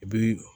I bi